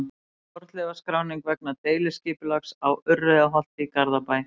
Fornleifaskráning vegna deiliskipulags á Urriðaholti í Garðabæ.